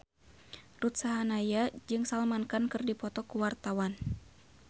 Ruth Sahanaya jeung Salman Khan keur dipoto ku wartawan